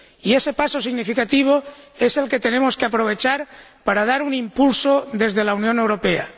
Y ese paso significativo es el que tenemos que aprovechar para dar un impulso desde la Unión Europea.